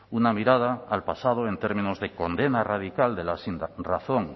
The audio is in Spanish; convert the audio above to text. una mirada al pasado en términos de condena radical de la sinrazón